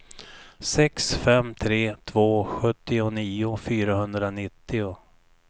sex fem tre två sjuttionio fyrahundranittio